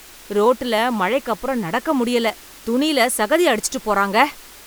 ரோட்டுல மழைக்கப்புறம் நடக்க முடியல, துணியில சகதிய அடிச்சிட்டுப் போறாங்க.